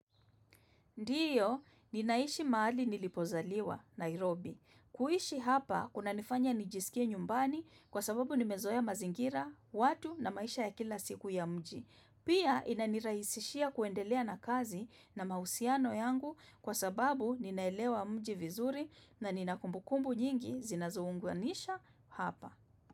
Ndiyo, ninaishi mahali nilipozaliwa, Nairobi. Kuishi hapa, kuna nifanya nijisikie nyumbani kwa sababu nimezoea mazingira, watu na maisha ya kila siku ya mji. Pia, inanirahisishia kuendelea na kazi na mahusiano yangu kwa sababu ninaelewa mji vizuri na ninakumbukumbu nyingi zinazounguanisha hapa.